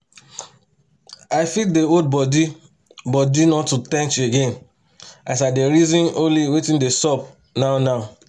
i fit dey hold bodi bodi not to ten ch again as i dey reaon only watin dey sup now now